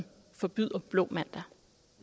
forbyde blå mandag